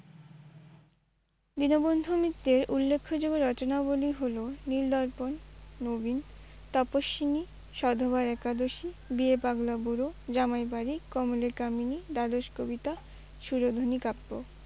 দীনবন্ধু মিত্রের উল্লেখ্য যোগ্য রচনাগুলি হলো নীলদর্পণ, নবীন তপস্বিনী, সধবার একাদশী, বিয়ে পাগলা বুড়ো, জামাই বাড়ি, কমলে কামিনী, দ্বাদশ কবিতা, সুরধুনী কাব্য।